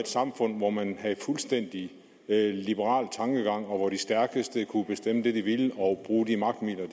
samfund hvor man havde en fuldstændig liberal tankegang og hvor de stærkeste kunne bestemme det de ville og bruge de magtmidler